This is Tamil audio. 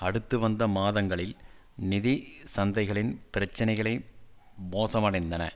அடுத்து வந்த மாதங்களில் நிதி சந்தைகளின் பிரச்சினைகளை மோசமடைந்தன